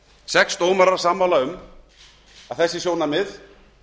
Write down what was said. sex dómarar sammála um að þessi sjónarmið